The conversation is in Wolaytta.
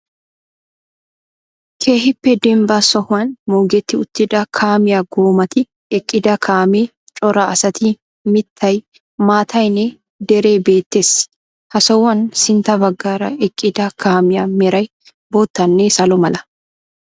Keehippe dembba sohuwan moogetti uttida kaamiya goomati, eqqida kaamee, cora asati, mittay, maattaynne deree beettees. Ha sohuwan sintta baggaara eqqida kaamiya meray boottanne salo mala.